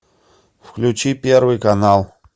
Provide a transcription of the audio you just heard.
включи первый канал